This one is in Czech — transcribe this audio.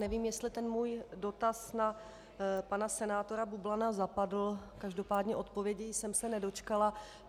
Nevím, jestli ten můj dotaz na pana senátora Bublana zapadl, každopádně odpovědi jsem se nedočkala.